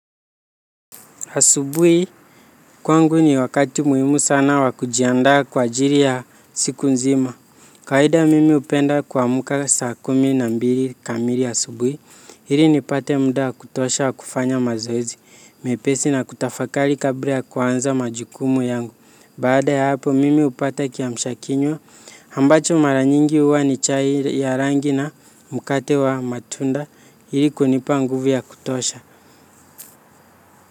Asubuhi kwangu ni wakati muhimu sana wa kujiandaa kwa ajili ya siku nzima. Kawaida mimi hupenda kuamka saa kumi na mbili kamili asubuhi. Ili nipate muda wa kutosha wa kufanya mazoezi. Mepesi na kutafakari kabla ya kuanza majukumu yangu. Baada ya hapo mimi hupata kiamsha kinywa. Ambacho mara nyingi huwa ni chai ya rangi na mkate wa matunda. Ili kunipa nguvu ya kutosha.